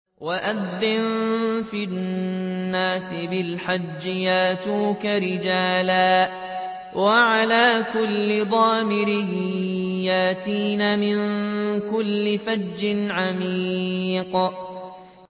وَأَذِّن فِي النَّاسِ بِالْحَجِّ يَأْتُوكَ رِجَالًا وَعَلَىٰ كُلِّ ضَامِرٍ يَأْتِينَ مِن كُلِّ فَجٍّ عَمِيقٍ